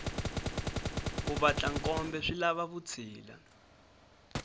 ku vatla nkombe swilava vutshila